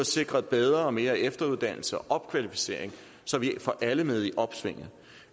sikret bedre og mere efteruddannelse og opkvalificering så vi får alle med i opsvinget